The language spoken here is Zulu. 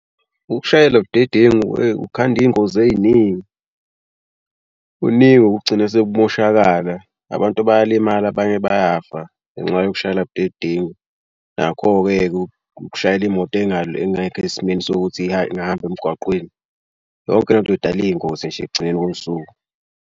Ukushayela budedengu kukhanda iy'ngozi ey'ningi kuningi okugcina sekumoshakala. Abantu bayalimala abanye bayafa ngenxa yokushayela budedengu. Nakho-ke ukushayela imoto engekho esimeni sokuthi ihambe ingahamba emgwaqeni yonke le nto idala iy'ngozi nje ekugcineni kosuku.